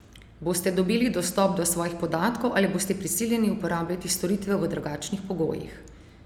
Boste dobili dostop do svojih podatkov ali boste prisiljeni uporabljati storitev v drugačnih pogojih?